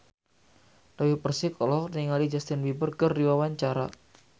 Dewi Persik olohok ningali Justin Beiber keur diwawancara